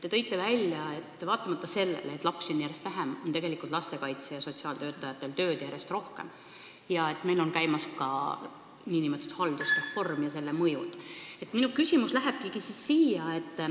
Te tõite välja, et vaatamata sellele, et lapsi on järjest vähem, on lastekaitse- ja sotsiaaltöötajatel tööd järjest rohkem, ning meil on käimas nn haldusreform ja sellel on oma mõju.